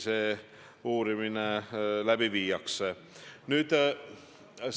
Suur tänu, hea küsija!